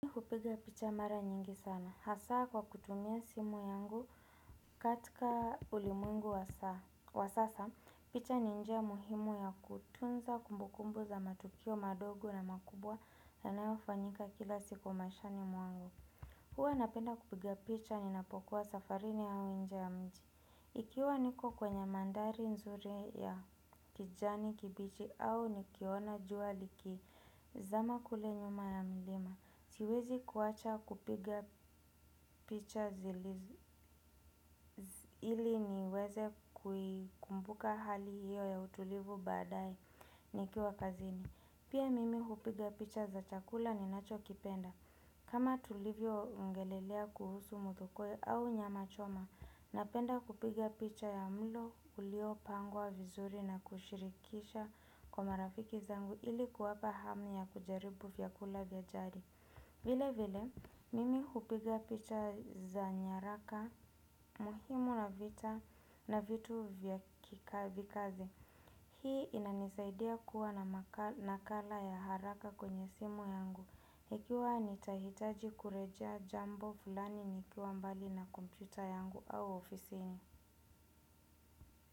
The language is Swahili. Kupiga picha mara nyingi sana. Hasa kwa kutumia simu yangu katika ulimwengu wa sasa, picha ni njia muhimu ya kutunza kumbukumbu za matukio madogo na makubwa yanayofanyika kila siku mashani mwangu. Hua napenda kupiga picha ninapokuwa safarini au nje ya mji. Ikiwa niko kwenye mandhari nzuri ya kijani kibichi au nikiona jua likizama kule nyuma ya milima. Siwezi kuacha kupiga picha ili niweze kuikumbuka hali hiyo ya utulivu baadae nikiwa kazini. Pia mimi hupiga picha za chakula ninacho kipenda. Kama tulivyo ongelelea kuhusu muthokoi au nyama choma, napenda kupiga picha ya mlo ulio pangwa vizuri na kushirikisha kwa marafiki zangu ili kuwapa hamu ya kujaribu vyakula vya jadi. Vile vile, mimi hupiga picha za nyaraka, muhimu na vita na vitu vya kikazi. Hii inanisaidia kuwa na nakala ya haraka kwenye simu yangu. Ikiwa nitahitaji kurejea jambo fulani nikiwa mbali na kompyuta yangu au ofisini.